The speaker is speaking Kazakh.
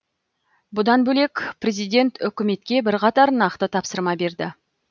бұдан бөлек президент үкіметке бірқатар нақты тапсырма берді